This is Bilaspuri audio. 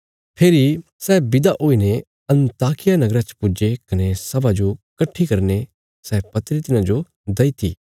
फेरी सै विदा हुईने अन्ताकिया नगरा च पुज्जे कने सभा जो कट्ठी करीने सै पत्री तिन्हांजो दईती